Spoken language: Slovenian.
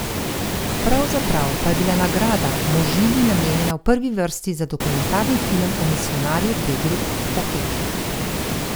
Pravzaprav pa je bila nagrada Možini namenjena v prvi vrsti za dokumentarni film o misijonarju Pedru Opeki.